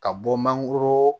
Ka bɔ mangoro